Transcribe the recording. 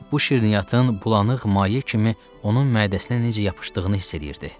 Bu şirniyyatın bulanıq maye kimi onun mədəsinə necə yapışdığını hiss edirdi.